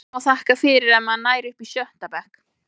Maður má þakka fyrir ef maður nær upp í sjötta bekk.